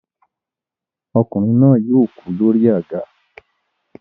Ọkùnrin náà yóò kú lórí àga.